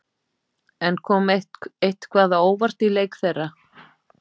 En kom eitthvað á óvart í leik þeirra?